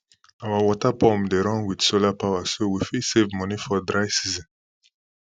our water pump dey run with solar power so we fit save money for dry season